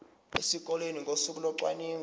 esikoleni ngosuku locwaningo